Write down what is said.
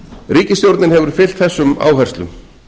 ríkisstjórnin hefur fylgt þessum áherslum